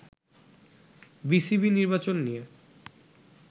BCB নির্বাচন নিয়ে